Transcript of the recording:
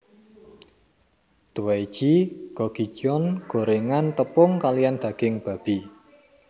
Dwaeji gogijeon gorengan tepung kaliyan daging babi